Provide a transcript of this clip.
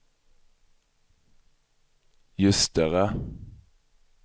Ljusterö